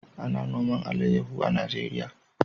A na noman alayaho a Najeriya